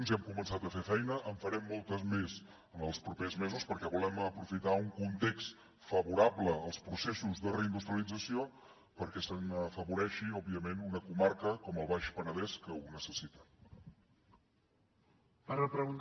ja hem començat a fer feina en farem molta més en els propers mesos perquè volem aprofitar un context favorable als processos de reindustrialització perquè se n’afavoreixi òbviament una comarca com el baix penedès que ho necessita